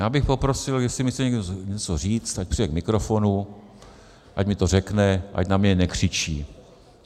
Já bych poprosil, jestli mi chce někdo něco říct, ať přijde k mikrofonu, ať mi to řekne, ať na mě nekřičí.